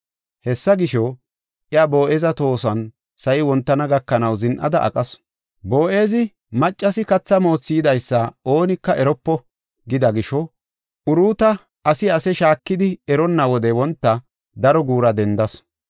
Hessa gisho, iya Boo7eza tohoson sa7i wontana gakanaw zin7ada aqasu. Boo7ezi, “Maccasi katha moothi yidaysa oonika eropo” gida gisho Uruuta asi ase shaakidi eronna wode wonta, daro guura dendasu.